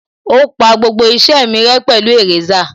Ó pa gbogbo iṣẹ́ mi rẹ́ pẹ̀lú èrésà